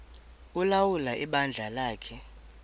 ulawula ibandla lakhe